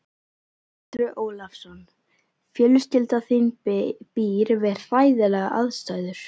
Andri Ólafsson: Fjölskylda þín býr við hræðilegar aðstæður?